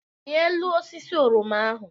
Rịa elu osisi oroma ahụ!